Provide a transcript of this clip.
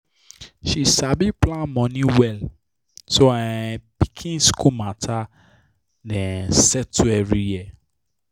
she sabi plan her money well so her um pikin school matter dey um settled every year